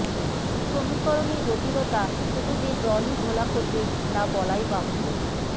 সমীকরণে জটিলতা শুধু যে জলই ঘোলা করবে তা বলাই বাহুল্য